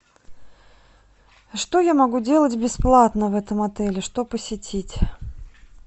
что я могу делать бесплатно в этом отеле что посетить